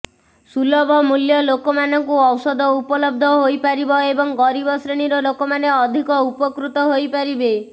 ସୁଲଭ ମୂଲ୍ୟ ଲୋକମାନଙ୍କୁ ଔଷଧ ଉପଲବ୍ଧ ହୋଇପାରିବ ଏବଂ ଗରିବ ଶ୍ରେଣୀର ଲୋକମାନେ ଅଧିକ ଉପକୃତ ହୋଇପାରିବେ